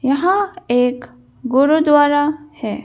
यहाँ एक गुरुद्वारा है।